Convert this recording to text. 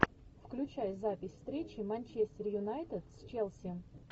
включай запись встречи манчестер юнайтед с челси